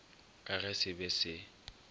ka ge se be se